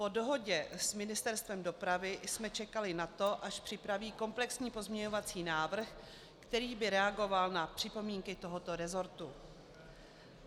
Po dohodě s Ministerstvem dopravy jsme čekali na to, až připraví komplexní pozměňovací návrh, který by reagoval na připomínky tohoto rezortu.